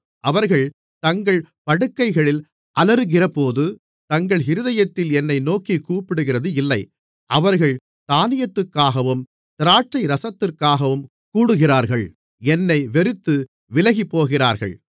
அவர்கள் தங்கள் படுக்கைகளில் அலறுகிறபோது தங்கள் இருதயத்தில் என்னை நோக்கிக் கூப்பிடுகிறதில்லை அவர்கள் தானியத்துக்காகவும் திராட்சைரசத்துக்காகவும் கூடுகிறார்கள் என்னை வெறுத்து விலகிப்போகிறார்கள்